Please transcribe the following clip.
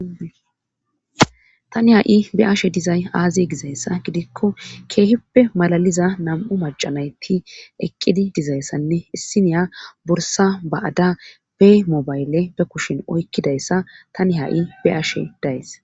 tani ha7i be ashe dizay aaziye gizayssa gidikko keehippe malaliza nam7u macanayti eqqidi dizayssanne issiniya borsa ba7ada be mobayle be kushin oykkidayssa tani ha7i be ashe days